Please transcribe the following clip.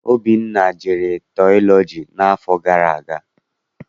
Obinna jere tiọlọji n'afọ gara aga.